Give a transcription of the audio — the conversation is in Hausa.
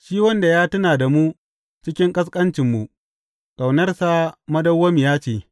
Shi wanda ya tuna da mu cikin ƙasƙancinmu Ƙaunarsa madawwamiya ce.